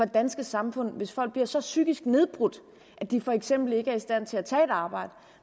danske samfund hvis folk bliver så psykisk nedbrudt at de for eksempel ikke er i stand til at tage et arbejde